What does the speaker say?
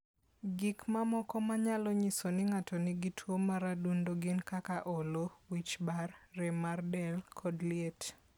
Gik mamoko manyalo nyiso ni ng'ato nigi tuwo mar adundo gin kaka olo, wich bar, rem mar del, kod liet.